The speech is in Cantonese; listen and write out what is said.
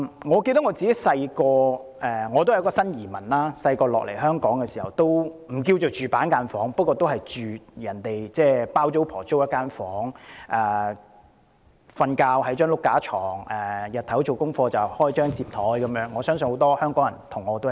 我年幼時也是個新移民，雖然不算是居於板間房，但也是居於"包租婆"租出的一個房間內，在雙層床上睡覺，白天做家課時就打開摺枱，我相信很多香港人也是這樣的。